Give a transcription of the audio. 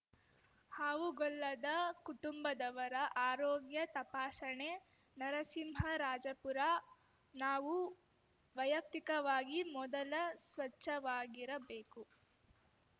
ಹಾವುಗೊಲ್ಲದ ಕುಟುಂಬದವರ ಆರೋಗ್ಯ ತಪಾಸಣೆ ನರಸಿಂಹರಾಜಪುರ ನಾವು ವೈಯಕ್ತಿಕವಾಗಿ ಮೊದಲ ಸ್ವಚ್ಛವಾಗಿರಬೇಕು